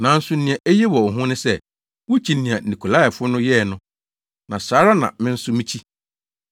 Nanso nea eye wɔ wo ho ne sɛ, wukyi nea Nikolaifo no yɛ no, na saa ara na me nso mikyi.